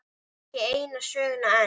Ekki eina söguna enn.